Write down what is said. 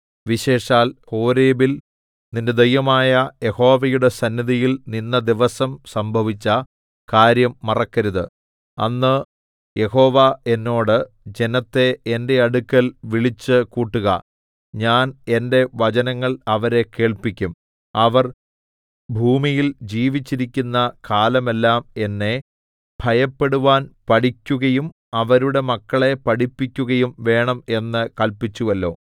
വിശേഷാൽ ഹോരേബിൽ നിന്റെ ദൈവമായ യഹോവയുടെ സന്നിധിയിൽ നിന്ന ദിവസം സംഭവിച്ച കാര്യം മറക്കരുത് അന്ന് യഹോവ എന്നോട് ജനത്തെ എന്റെ അടുക്കൽ വിളിച്ചുകൂട്ടുക ഞാൻ എന്റെ വചനങ്ങൾ അവരെ കേൾപ്പിക്കും അവർ ഭൂമിയിൽ ജീവിച്ചിരിക്കുന്ന കാലമെല്ലാം എന്നെ ഭയപ്പെടുവാൻ പഠിക്കുകയും അവരുടെ മക്കളെ പഠിപ്പിക്കുകയും വേണം എന്ന് കല്പിച്ചുവല്ലോ